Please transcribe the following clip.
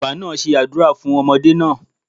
Baba naa se àdúrà fun ọmọdé naa